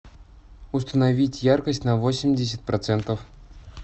установить яркость на восемьдесят процентов